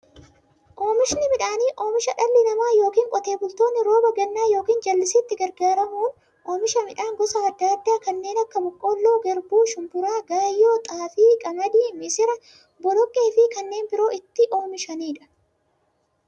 Oomishni midhaanii, oomisha dhalli namaa yookiin Qotee bultoonni rooba gannaa yookiin jallisiitti gargaaramuun oomisha midhaan gosa adda addaa kanneen akka; boqqoolloo, garbuu, shumburaa, gaayyoo, xaafii, qamadii, misira, boloqqeefi kanneen biroo itti oomishamiidha.